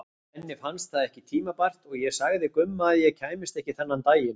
Henni fannst það ekki tímabært og ég sagði Gumma að ég kæmist ekki þennan daginn.